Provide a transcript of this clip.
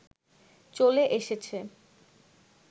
চলে এসেছে